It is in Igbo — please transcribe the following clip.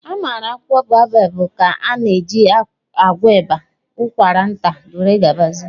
Amara akwụkwọ Baobab ka a na-eji agwọ ịba, ụkwara nta wdg